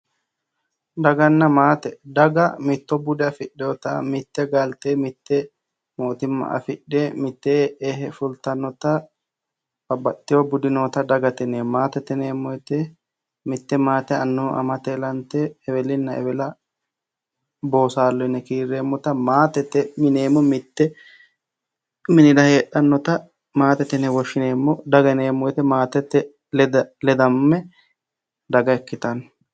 Daganna maate, daga mitto bude afidhinotta ,mite galite ,mite mootimma affidhe mitteenni e"e fulittanotta babbaxxino budi nootta dagate yinneemmo. maatete yinneemmoti mite maate annu amate ilante eweli minenna eweli boosallo yinne kiireemmotta maatete yinneemmo, mitu minira heedhanotta maatete yinne woshshineemmo, daga yinneemmo woyte maatete ledame daga ikkittano.